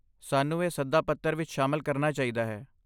ਸਾਨੂੰ ਇਹ ਸੱਦਾ ਪੱਤਰ ਵਿੱਚ ਸ਼ਾਮਲ ਕਰਨਾ ਚਾਹੀਦਾ ਹੈ।